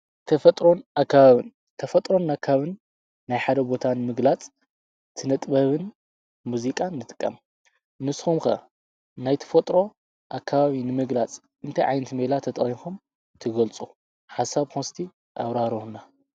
ተፈጥሮን ኣካባብን፣ ተፈጥሮን ኣካባብን ናይ ሓደ ቦታን ምግላጽ ስነ ጥበብን፣ ሙዚቃን ንጥቀም እስኹም ከ ናይ ተፈጥሮ ኣካባብ ንምግላጽ እንተ ዓይነት ሜላ ተጣቂምኩም ትገልጹ። ሓሳብኩም እስቲ ኣብራርሁልና?